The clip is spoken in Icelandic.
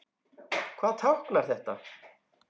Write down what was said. Hvað táknar þetta?